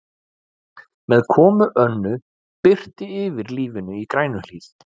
Með komu Önnu birtir yfir lífinu í Grænuhlíð.